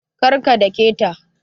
Kar ka dake ta